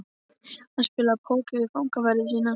Hann spilaði póker við fangaverði sína.